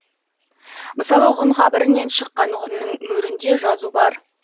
мысалы ғұн қабірінен шыққан ғұнның мөрінде жазу бар